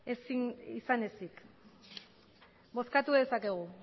izan ezik bozkatu dezakegu